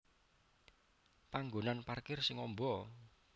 Panggonan parkir sing amba